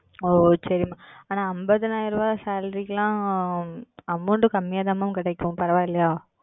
உம் ஓ சரி Ma'am ஆனா ஐம்பதாயிரம் ரூபா Salary க்கு எல்லாம் Amount கம்மியா தான் Ma'am கிடைக்கும் பரவா இல்லையா?